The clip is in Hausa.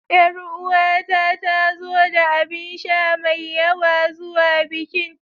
Ƴaruwata ta zo da abinsha mai yawa zuwa bikin.